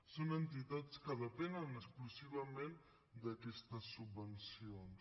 són entitats que depenen exclusivament d’aquestes subvencions